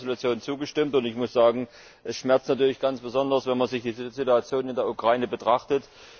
Ich habe der Entschließung zugestimmt, und ich muss sagen Es schmerzt natürlich ganz besonders, wenn man die Situation in der Ukraine betrachtet.